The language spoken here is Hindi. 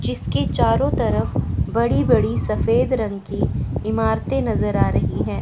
जिसके चारों तरफ बड़ी बड़ी सफेद रंग की इमारतें नजर आ रही है।